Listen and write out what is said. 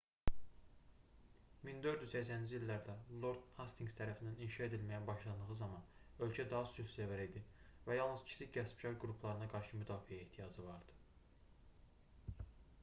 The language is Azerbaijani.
1480-ci illərdə lord hastinqs tərəfindən inşa edilməyə başlandığı zaman ölkə daha sülhsevər idi və yalnız kiçik qəsbkar qruplarına qarşı müdafiəyə ehtiyacı var idi